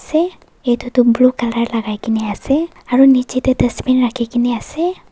say itu tuh blue colour lagai kena ase aru niche tey dustbin rakhi gena ase.